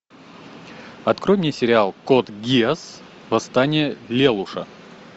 открой мне сериал код гиас восстание лелуша